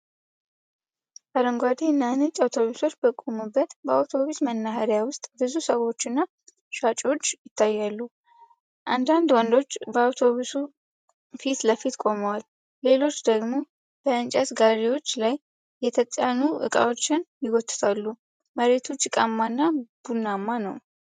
አረንጓዴ እና ነጭ አውቶቡሶች በቆሙበት በአውቶቡስ መናኸሪያ ውስጥ ብዙ ሰዎች እና ሻንጣዎች ይታያሉ። አንዳንድ ወንዶች በአውቶቡሶች ፊት ለፊት ቆመዋል፤ ሌሎች ደግሞ በእንጨት ጋሪዎች ላይ የተጫኑ እቃዎችን ይጎትታሉ። መሬቱ ጭቃማና ቡናማ ነው።